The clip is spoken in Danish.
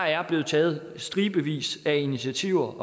er blevet taget stribevis af initiativer